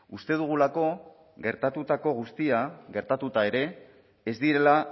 uste dugulako gertatutako guztia gertatuta ere ez direla